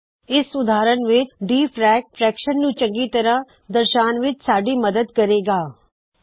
ਇਸ ਉਦਾਹਰਨ ਵਿੱਚ ਡੀਫ਼ਰੈਕ ਫ੍ਰੈਕ੍ਸ਼ਨ ਨੂੰ ਚੰਗੀ ਤਰਹ ਦਰਸ਼ਾਉਨ ਵਿੱਚ ਸਾੱਡੀ ਮੱਦਦ ਕਰੇ ਗਾ